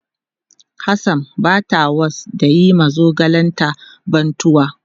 Hassan bata was da yin ma zogalen ta bantuwa.